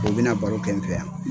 kun bɛna baro kɛ n fɛ yan